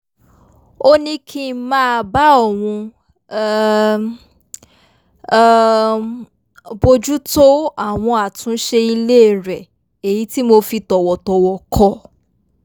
ó ní kí n máa bá òun um um bójútó àwọn àtúnṣe ilé rẹ̀ èyí tí mo fi tọ̀wọ̀tọ̀wọ̀ kọ̀